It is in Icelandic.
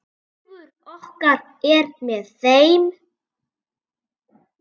Hugur okkar er með þeim.